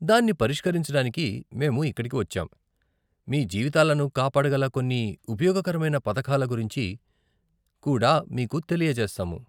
దాన్ని పరిష్కరించడానికి మేము ఇక్కడికి వచ్చాం, మీ జీవితాలను కాపాడగల కొన్ని ఉపయోగకరమైన పథకాల గురించి కూడా మీకు తెలియజేస్తాము.